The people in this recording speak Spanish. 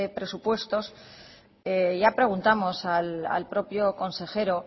presupuestos ya preguntamos al propio consejero